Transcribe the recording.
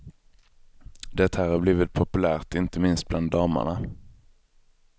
Det här har blivit populärt, inte minst bland damerna.